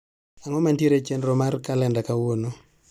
Ang'o mantiere e chenro mar kalenda kawuono?